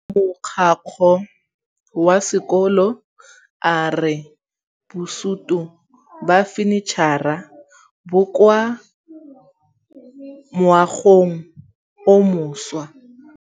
Mogokgo wa sekolo a re bosutô ba fanitšhara bo kwa moagong o mošwa.